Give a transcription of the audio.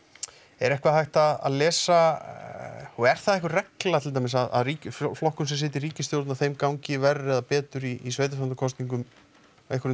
er eitthvað hægt að lesa og er það einhver regla til dæmis að ríkisstjórn flokkum sem sitja í ríkisstjórn að þeim gangi ver eða betur í sveitarstjórnarkosningum einhverjum